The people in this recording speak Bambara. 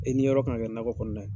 I niyɔrɔ kan k'a kɛ nakɔ kɔnɔna ye.